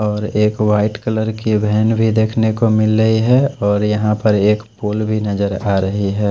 और एक white colour की व्हैन भी देखने को मिल रही है और यहां पर एक पुल भी नजर आ रही हैं।